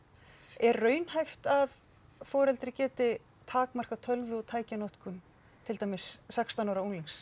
er raunhæft að foreldri geti takmarkað tölvu og tækjanotkun til dæmis sextán ára unglings